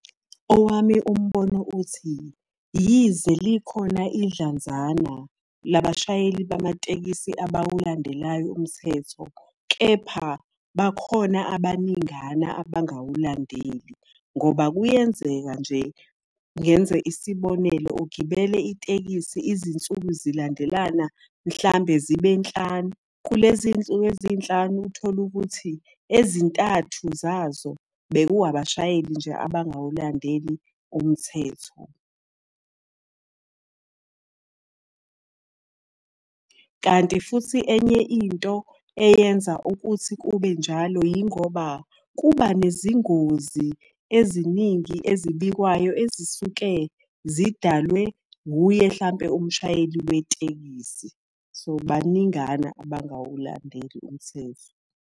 Owami umbono uthi, yize likhona idlanzana labashayeli bamatekisi abawulandelayo umthetho, kepha bakhona abaningana abangawuladeli. Ngoba kuyenzeka nje, ngenze isibonelo ugibele itekisi izinsuku zilandelana mhlambe zibe nhlanu, kulezi nsuku ezinhlanu uthole ukuthi, ezintathu zazo beku abashayeli nje abangawulandeli umthetho. Kanti futhi enye into eyenza ukuthi kube njalo yingoba kuba nezingozi, eziningi ezibikwayo, ezisuke zidalwe hhuye hlampe umshayeli wetekisi. So baningana abangawulandeli umthetho.